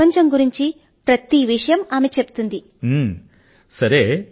లోకం పోకడ ను గురించిన ప్రతి విషయాన్ని ఆవిడ చెబుతుంటారు